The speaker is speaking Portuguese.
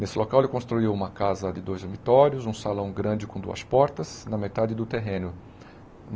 Nesse local, ele construiu uma casa de dois dormitórios, um salão grande com duas portas, na metade do terreno.